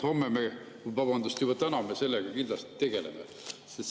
Homme – vabandust, juba täna – me sellega kindlasti tegeleme.